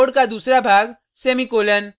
code का दूसरा भाग सेमीकॉलन